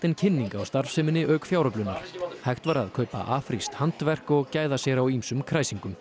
kynning á starfseminni auk fjáröflunar hægt var að kaupa afrískt handverk og gæða sér á ýmsum kræsingum